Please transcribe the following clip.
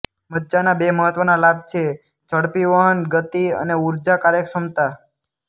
મજ્જાના બે મહત્ત્વના લાભ છેઃ ઝડપી વહન ગતિ અને ઊર્જા કાર્યક્ષમતા